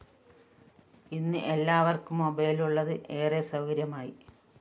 ഇന്ന് എല്ലാവര്‍ക്കും മൊബൈൽ ഉള്ളത് ഏറെ സൗകര്യമായി